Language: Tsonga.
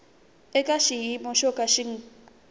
eka xiyimo xo ka xi